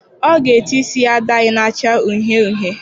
Ọ ga-ete isi ya dayị na-acha uhie uhie.